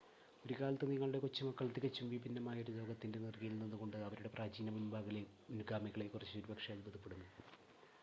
ഒരു കാലത്ത്, നിങ്ങളുടെ കൊച്ചുമക്കൾ തികച്ചും വിഭിന്നമായ ഒരു ലോകത്തിന്റെ നിറുകയിൽ നിന്നുകൊണ്ട് അവരുടെ പ്രാചീന മുൻഗാമികളെക്കുറിച്ച് ഒരുപക്ഷേ അത്ഭുതപ്പെടുമോ?